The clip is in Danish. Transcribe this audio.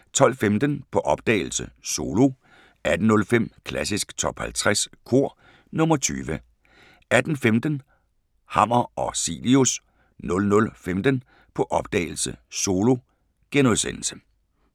12:15: På opdagelse – Solo 18:05: Klassisk Top 50 Kor – nr. 20 18:15: Hammer og Cilius 00:15: På opdagelse – Solo *